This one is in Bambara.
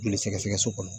Joli sɛgɛsɛgɛ so kɔnɔ